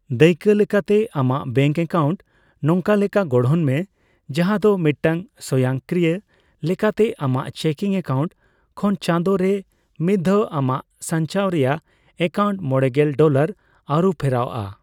ᱫᱟᱹᱭᱠᱟ ᱞᱮᱠᱟᱛᱮ, ᱟᱢᱟᱜ bank account ᱱᱚᱝᱠᱟ ᱞᱮᱠᱟ ᱜᱚᱲᱦᱚᱱ ᱢᱮ, ᱡᱟᱦᱟ ᱫᱚ ᱢᱤᱫᱴᱟᱝ ᱥᱚᱭᱚᱝᱠᱨᱤᱭᱚ ᱞᱮᱠᱟᱛᱮ ᱟᱢᱟᱜ ᱪᱮᱠᱤᱱᱝ ᱮᱠᱟᱩᱱᱴ ᱠᱷᱚᱱ ᱪᱟᱸᱫᱚ ᱨᱮ ᱢᱤᱫᱷᱟᱣ ᱟᱢᱟᱜ ᱥᱟᱝᱪᱟᱣ ᱨᱮᱭᱟᱜ ᱮᱠᱟᱩᱱᱴ ᱢᱚᱲᱮᱜᱮᱞ ᱰᱚᱞᱟᱨ ᱟᱨᱩᱯᱷᱮᱨᱟᱜ ᱟ ᱾